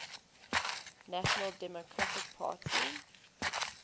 national democratic party